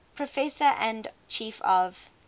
professor and chief of